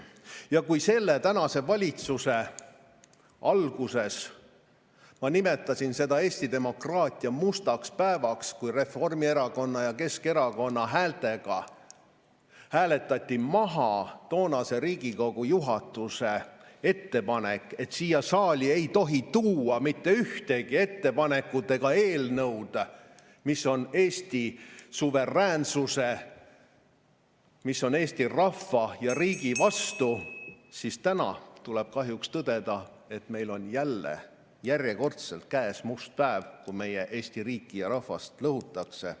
Ja kui tänase valitsuse alguses ma nimetasin seda Eesti demokraatia mustaks päevaks, kui Reformierakonna ja Keskerakonna häältega hääletati maha toonase Riigikogu juhatuse ettepanek, et siia saali ei tohi tuua mitte ühtegi ettepanekut ega eelnõu, mis on Eesti suveräänsuse, mis on Eesti rahva ja riigi vastu, siis täna tuleb kahjuks tõdeda, et meil on jälle järjekordselt käes must päev, kui meie Eesti riiki ja rahvast lõhutakse.